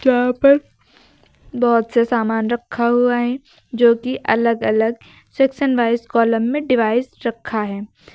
यहां पर बहोत से सामान रखा हुआ है जो कि अलग अलग सेक्शन वाइज कॉलम में डिवाइस रखा है।